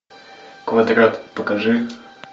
квадрат покажи